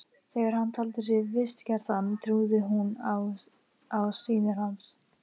Þegar hann taldi sig vitskertan trúði hún á sýnir hans.